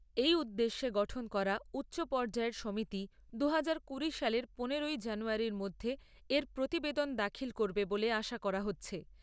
এই উদ্দেশ্যে গঠন করা উচ্চ পর্যায়ের সমিতি দু হাজার কুড়ি সালের পনেরোই জানুয়ারীর মধ্যে এর প্রতিবেদন দাখিল করবে বলে আশা করা হচ্ছে।